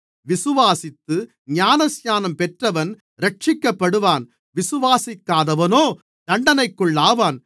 விசுவாசித்து ஞானஸ்நானம் பெற்றவன் இரட்சிக்கப்படுவான் விசுவாசிக்காதவனோ தண்டனைக்குள்ளாவான்